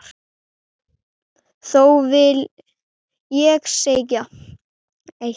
Þó vil ég segja eitt.